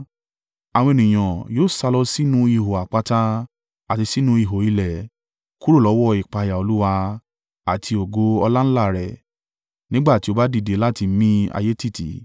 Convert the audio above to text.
Àwọn ènìyàn yóò sálọ sínú ihò àpáta àti sínú ihò ilẹ̀ kúrò lọ́wọ́ ìpayà Olúwa àti ògo ọláńlá rẹ̀, nígbà tí ó bá dìde láti mi ayé tìtì.